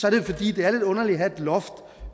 er det fordi det er lidt underligt at have et loft